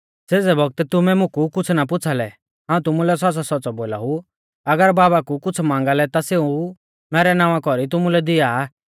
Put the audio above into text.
सेज़ै बौगतै तुमै मुकु कुछ़ ना पुछ़ालै हाऊं तुमुलै सौच़्च़ौसौच़्च़ौ बोलाऊ अगर बाबा कु कुछ़ मांगा लै ता सेऊ मैरै नावां कौरी तुमुलै दिआ आ